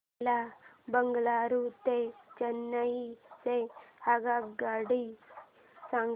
मला बंगळुरू ते चेन्नई च्या आगगाड्या सांगा